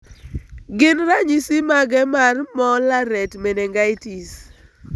Gin ranyisi mage mar Mollaret meningitis?